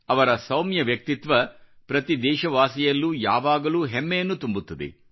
ಅವರ ಸೌಮ್ಯ ವ್ಯಕ್ತಿತ್ವ ಪ್ರತಿ ದೇಶವಾಸಿಯಲ್ಲೂ ಯಾವಾಗಲೂ ಹೆಮ್ಮೆಯನ್ನು ತುಂಬುತ್ತದೆ